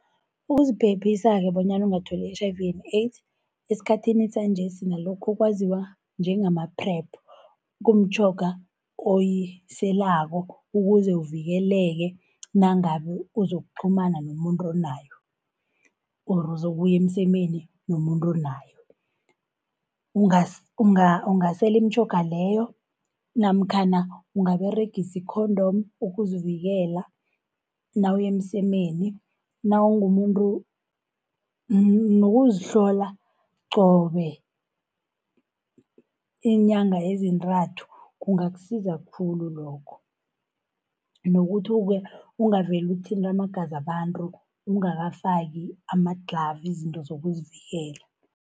Ukuziphephisa-ke bonyana ungatholi i-H_I_V and AIDS, esikhathini sanjesi nalokhu okwaziwa njengama-PrEP, kumtjhoga oyiselako ukuze uvikeleke nangabe uzokuqhumana nomuntu onayo or uzokuya emsemeni nomuntu onayo. Ungasela imitjhoga leyo, namkhana ungaberegisa i-condom ukuzivikela nawuya emsemeni nawumumuntu, nokuzihlola qobe iinyanga ezintathu kungakusiza khulu lokho. Nokuthi-ke ungavele uthinte amagaza wabantu ungakafaki amadlhavu, izinto zokuzivikela.